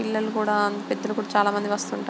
పిల్లలు కూడా పెద్దలు కూడా చాలా మంది వస్తుంటారు.